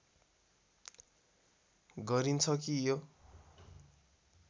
गरिन्छ कि यो